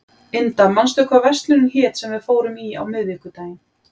Inda, manstu hvað verslunin hét sem við fórum í á miðvikudaginn?